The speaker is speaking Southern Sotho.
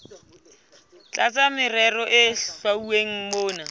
tlasa merero e hlwauweng mona